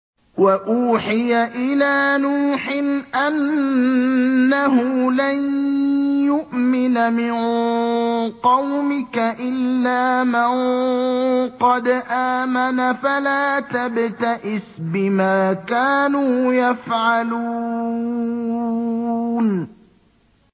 وَأُوحِيَ إِلَىٰ نُوحٍ أَنَّهُ لَن يُؤْمِنَ مِن قَوْمِكَ إِلَّا مَن قَدْ آمَنَ فَلَا تَبْتَئِسْ بِمَا كَانُوا يَفْعَلُونَ